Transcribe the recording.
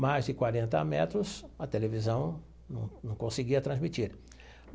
Mais de quarenta metros a televisão não não conseguia transmitir.